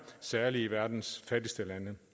særlig i verdens fattigste lande